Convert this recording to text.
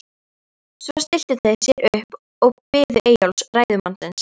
Svo stilltu þeir sér upp og biðu Eyjólfs, ræðumannsins.